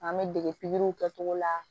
An bɛ dege pikiriw kɛcogo la